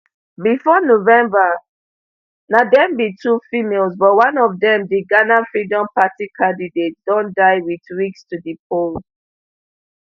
bifor november na dem be two females but one of dem di ghana freedom party candidate don die wit weeks to di poll